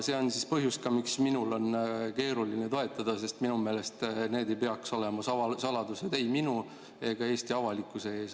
See on põhjus, miks minul on keeruline seda toetada, sest minu meelest see ei peaks olema saladus ei minu ega Eesti avalikkuse ees.